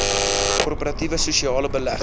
korporatiewe sosiale belegging